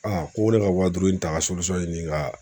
Aa ko ne ka waa duuru in ta ka ɲini ka.